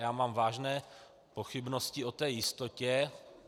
Já mám vážné pochybnosti o té jistotě.